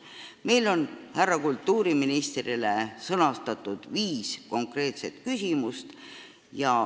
Meil on härra kultuuriministrile sõnastatud viis konkreetset küsimust.